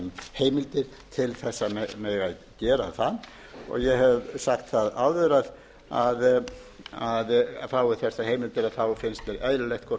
heimildir til þess að mega gera það ég hef sagt það áður að fáist þessar heimildir finnst mér eðlilegt hvort